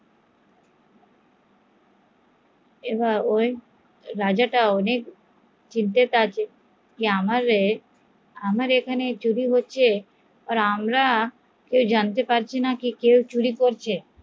এবার রাজাটা অনেক চিন্তায় আছে যে আমার এখানে চুরি হচ্চে আর আমরা জানতে পারছি না কে কে করছে